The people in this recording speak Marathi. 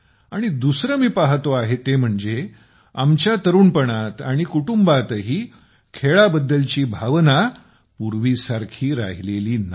आणि दुसरं मी पाहतो आहे ते म्हणजे आमच्या तरुणपणात आणि कुटुंबातही खेळाबद्दलची भावना पूर्वीसारखी राहिलेली नाही